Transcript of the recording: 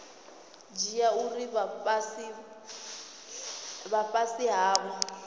dzhia uri vha fhasi havho